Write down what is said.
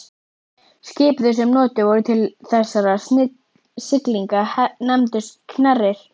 Skip þau sem notuð voru til þessara siglinga nefndust knerrir.